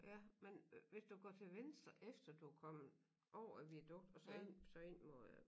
Ja men øh hvis du går til venstre efter du kommet over viadukt og så ind så ind mod øh